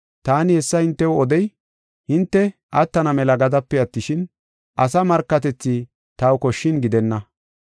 Taani hessa hintew odey, hinte attana mela gadape attishin, asa markatethi taw koshshin gidenna.